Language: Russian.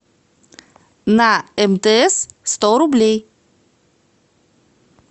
на мтс сто рублей